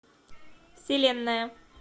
вселенная